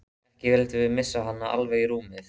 Ekki vildum við missa hana alveg í rúmið.